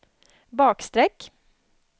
bakstreck